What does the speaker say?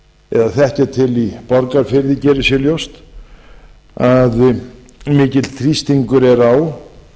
eða þekkja til í borgarfirði geri sér ljóst að mikill þrýstingur er á